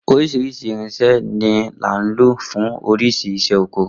Oríṣiríṣi irinsẹ́ ni là ń lò fún oríṣi iṣẹ́ oko